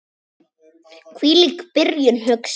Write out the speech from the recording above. Hvílík byrjun, hugsaði hann.